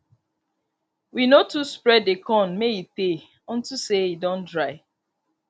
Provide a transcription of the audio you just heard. we no too spread the corn may e tay unto say e don dry